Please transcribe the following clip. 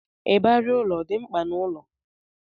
Ịbarị ụlọ ọ dị mkpa n'ụlọ?